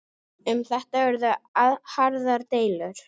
Um þetta urðu harðar deilur.